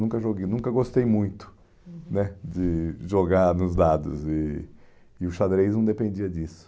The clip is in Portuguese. Eu nunca joguei nunca gostei muito, uhum, né de jogar nos dados e e o xadrez não dependia disso.